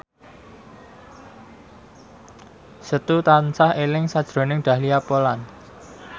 Setu tansah eling sakjroning Dahlia Poland